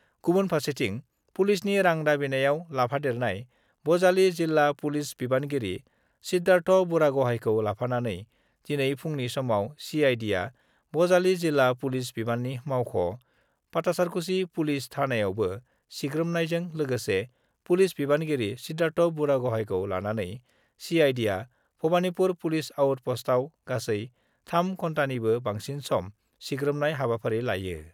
गुबुन फार्सेथिं, पुलिसनि रां दाबिनायाव लाफादेरनाय बजालि जिल्ला पुलिस बिबानगिरि सिद्धार्थ बुरागहाइखौ लाफानानै दिनै फुंनि समाव सिआइडिआ बजालि जिल्ला पुलिस बिबानगिरि मावख', पाटासारकुसि पुलिस थानायावबो सिग्रोमहैनायजों लोगोसे पुलिस बिबानगिरि सिद्धार्थ बुरागहाइखौ लानानै सिआइडिआ भबानिपुर पुलिस आउट पस्टआव गासै 3 घन्टानिबो बांसिन सम सिग्रोमनाय हाबाफारि लायो।